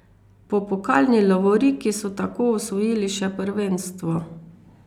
Po pokalni lovoriki so tako osvojili še prvenstvo.